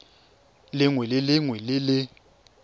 lengwe le lengwe le le